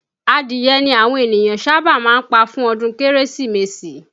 Adìye ni àwọn ènìyàn sábà máa ń pa fún ọdún Kérésìmesì